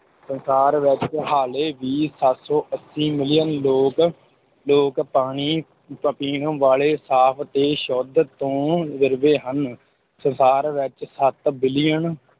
ਸੰਸਾਰ ਵਿੱਚ ਹਾਲੇ ਵੀ ਸੱਤ ਸੌ ਅੱਸੀ ਮਿਲੀਅਨ ਲੋਕ, ਲੋਕ ਪਾਣੀ ਪ ਪੀਣ ਵਾਲੇ ਸਾਫ ਤੇ ਸ਼ੁੱਧ ਤੋਂ ਵਿਰਵੇ ਹਨ, ਸੰਸਾਰ ਵਿੱਚ ਸੱਤ ਬਿਲੀਅਨ